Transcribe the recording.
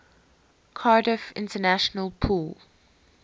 cardiff international pool